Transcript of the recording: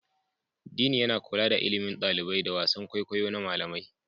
Dean yana kula da ilimin ɗalibai da wasan kwaikwayo na malamai.